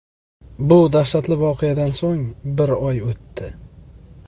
Bu dahshatli voqeadan so‘ng bir oy o‘tdi.